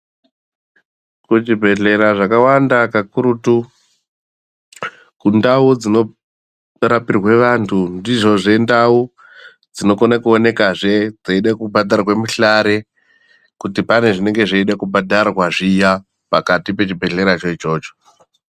Kuzvibhedhlera zvakawanda kakurutu kundau dzinorapirwa vantu ndidzozve ndau dzinokone kuonekazve dzeida kubhadharwe mihlare kuti pane zvinenge zveida kubhadharwa zviya pakati pechebhedhleracho ichocho.